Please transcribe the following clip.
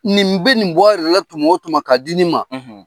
Nin bɛ nin bɔ yɛrɛ la tuma o tuma ma k'a di nin ma,